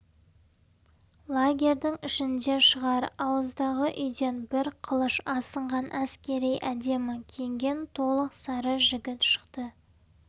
лагерьдің ішінде шығар ауыздағы үйден бір қылыш асынған әскери әдемі киінген толық сары жігіт шықты